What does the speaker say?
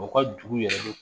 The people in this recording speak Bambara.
U ka dugu yɛrɛ